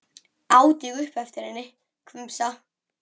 át ég upp eftir henni, hvumsa.